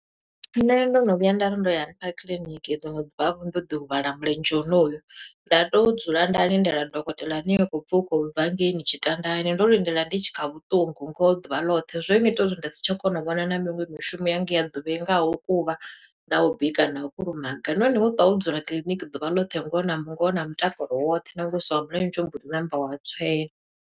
Nṋe ndo no vhuya nda ri ndo ya hanefha kiḽiniki, liṅwe ḓuvha vho ndo ḓi huvhala mulenzhe honoyu. Nda tea u dzula nda lindela dokotela ane ha khou pfi u khou bva ngeini Tshitandani, ndo lindela ndi tshi kha vhuṱungu ngoho ḓuvha ḽoṱhe. Zwo ngita uri ndi si tsha kona u vhona na miṅwe mishumo yanga ya ḓuvha, ingaho u kuvha, na u bika, na u kulumaga. Nahone wo ṱwa wo dzula kiḽiniki ḓuvha ḽoṱhe, ngoho na ngoho na mutakalo woṱhe, na wa mulenzhe u mboḓi ṋamba wa u tswenya.